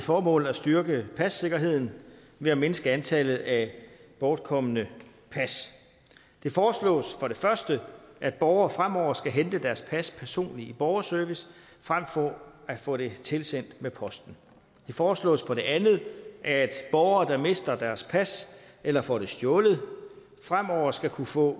formål at styrke passikkerheden ved at mindske antallet af bortkomne pas det foreslås for det første at borgere fremover skal hente deres pas personligt i borgerservice frem for at få det tilsendt med posten det foreslås for det andet at borgere der mister deres pas eller får det stjålet fremover skal kunne få